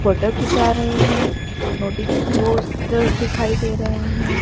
Photo खींच रहे हैं नोटिस पोस्टर्स दिखाई दे रहे हैं।